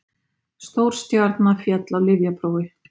Stórstjarna féll á lyfjaprófi